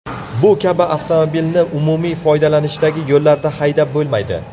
Bu kabi avtomobilni umumiy foydalanishdagi yo‘llarda haydab bo‘lmaydi.